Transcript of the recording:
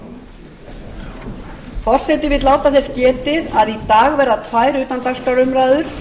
forseti vill láta þess getið að í dag verða tvær utandagskrárumræður